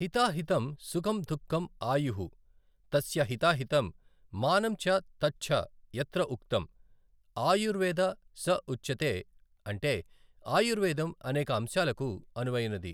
హితా హితమ్ సుఖమ్ దుఃఖమ్ ఆయుః తస్య హితా హితమ్ మానమ్ చ తచ్ఛ యత్ర ఉక్తమ్, ఆయుర్వేద స ఉచ్యతే అంటే ఆయుర్వేదం అనేక అంశాలకు అనువైనది.